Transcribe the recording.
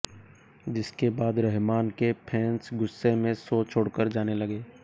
जिसके बाद रहमान के फैंस गुस्से में शो छोड़कर जाने लगे